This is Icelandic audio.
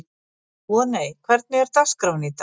Voney, hvernig er dagskráin í dag?